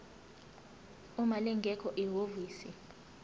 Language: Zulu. uma lingekho ihhovisi